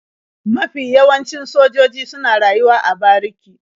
Mafi yawancin sojoji suna rayuwa a bariki.